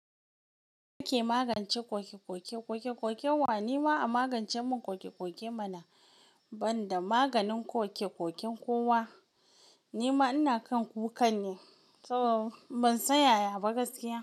Ya ake magance kokekoke, kokekokenwa? Ni ma a magance mun kokekoke mana, banda maganin kokekoken kowa. Ni ma ina kan kukan ne saboda ban san yaya ba gaskiya.